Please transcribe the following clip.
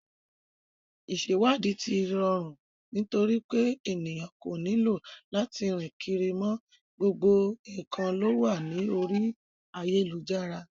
Ìsẹ̀wáàdí ti rọrù nitorípé ènìyàn kò nílò lati rìn kiri mọ, gbogbo nǹkan lówà ní orí ayélujára.